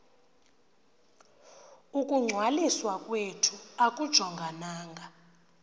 ukungcwaliswa kwethu akujongananga